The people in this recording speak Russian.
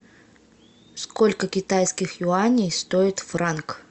сколько китайских юаней стоит франк